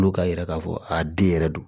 Olu k'a yira k'a fɔ a den yɛrɛ don